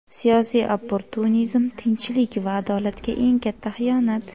Siyosiy opportunizm – tinchlik va adolatga eng katta xiyonat.